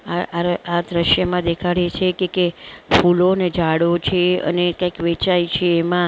આ આર આ દ્રશ્યમાં દેખાડે છે કે કે ફૂલો ને ઝાડો છે અને કૈક વેચાય છે એમાં બધા--